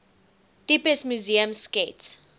tipes museums skets